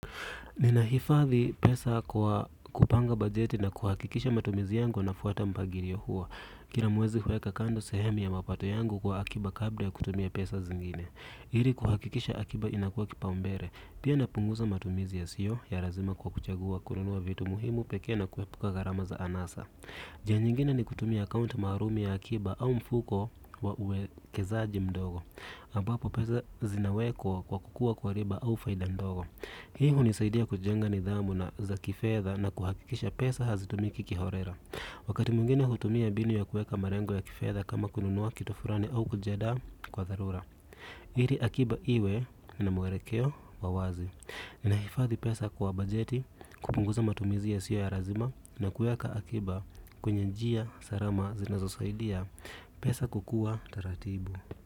Ninahifadhi pesa kwa kupanga bajeti na kuhakikisha matumizi yangu yanafuata mpangilio huo. Kila mwezi huweka kando sehemu ya mapato yangu kwa akiba kabla ya kutumia pesa zingine ili kuhakikisha akiba inakuwa kipaumbele pia napunguza matumizi yasiyo ya lazima kwa kuchagua kununua vitu muhimu pekee na kuepuka gharama za anasa. Njia nyingine ni kutumia akaunti maalumu ya akiba au mfuko wa uwekezaji mdogo ambapo pesa zinawekwa kwa kukua kwa riba au faida ndogo. Hii hunisaidia kujenga nidhamu za kifedha na kuhakikisha pesa hazitumiki kiholela. Wakati mwingine hutumia mbinu ya kuweka malengo ya kifedha kama kununua kitu fulani au kujiandaa kwa dharura. Ili akiba iwe na mwelekeo wa wazi. Nahifadhi pesa kwa bajeti, kupunguza matumizi yasiyo ya lazima na kuweka akiba kwenye njia salama zinazosaidia pesa kukua taratibu.